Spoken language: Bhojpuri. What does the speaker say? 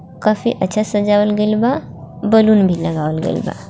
काफी अच्छा सजावल गइल बा बैलून भी लगावल गइल बा।